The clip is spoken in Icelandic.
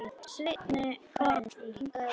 Svenni kinkar kolli.